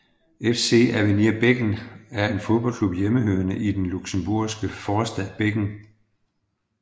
FC Avenir Beggen er en fodboldklub hjemmehørende i den luxembourgske forstad Beggen